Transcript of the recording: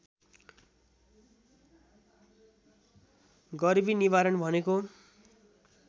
गरिबी निवारण भनेको